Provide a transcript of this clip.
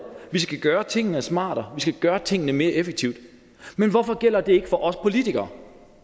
vi skal gøre tingene smartere vi skal gøre tingene mere effektivt men hvorfor gælder det ikke for os politikere